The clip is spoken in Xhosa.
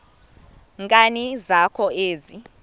nkani zakho ezi